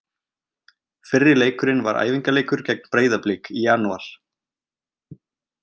Fyrri leikurinn var æfingaleikur gegn Breiðablik í janúar.